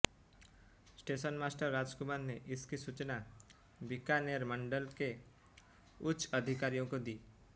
station master Rajkumar ने इसकी सूचना बिकानेर मंडल के उच्च अधिकारियों को दी